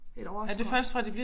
Et årskort